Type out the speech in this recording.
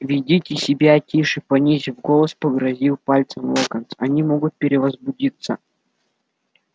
ведите себя тише понизив голос погрозил пальцем локонс они могут перевозбудиться